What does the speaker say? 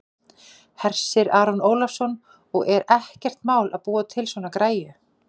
Hersir Aron Ólafsson: Og er ekkert mál að búa til svona græju?